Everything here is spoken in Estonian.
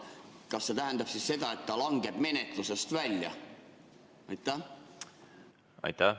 Kas see tähendab siis seda, et ta langeb menetlusest välja?